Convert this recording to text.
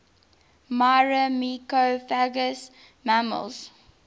myrmecophagous mammals